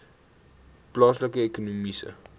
plaaslike ekonomiese